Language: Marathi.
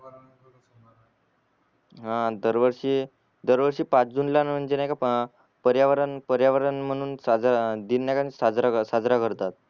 हा दर वर्षी दर वर्षी पाच जून ला म्हणजे नाहीका अ पर्यावरण पर्यावरण म्हणून साज दिन म्हणून सजरा साजरा करतात.